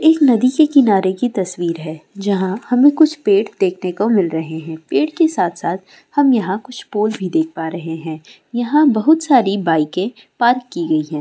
एक नदी के किनारे की तस्वीर है जहाँ हमे कुछ पेड़ देखने को मिल रहे है पेड़ की साथ साथ हम यहाँ कुछ पोटस भी देख प रहे है यहाँ बहुत सारी बाइके पार्क की गई है ।